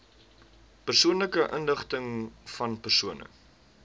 persoonlike inligtingvan persone